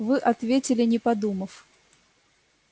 вы ответили не подумав